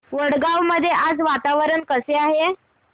वडगाव मध्ये आज वातावरण कसे आहे